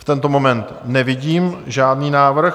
V tento moment nevidím žádný návrh.